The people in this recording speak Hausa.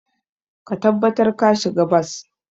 Ka tabbatar ka shiga bas.